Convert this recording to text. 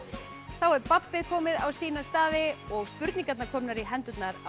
þá er babbið komið á sína staði og spurningarnar komnar í hendurnar á